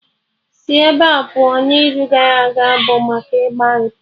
Sị ebea pụọ, n'izu gara aga bụ maka ịgba repọt!